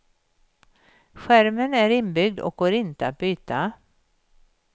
Skärmen är inbyggd och går inte att byta.